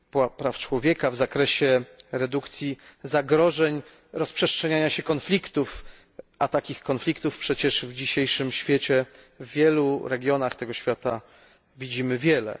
praw człowieka, w zakresie redukcji zagrożeń, rozprzestrzeniania się konfliktów, a takich konfliktów w dzisiejszym świecie w wielu regionach widzimy wiele.